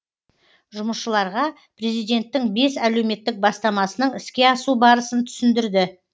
жұмысшыларға президенттің бес әлеуметтік бастамасының іске асу барысын түсіндірді